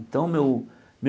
Então, meu meu